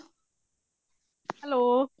hello